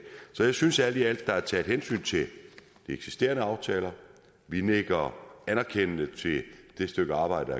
synes alt i alt er taget hensyn til de eksisterende aftaler vi nikker anerkendende til det stykke arbejde